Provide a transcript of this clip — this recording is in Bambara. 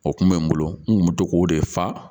O kun bɛ n bolo n kun bɛ to k'o de fa